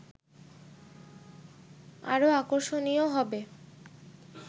আরও আকর্ষণীয় হবে